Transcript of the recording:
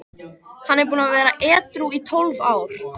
Hann er búinn að vera edrú í tólf ár.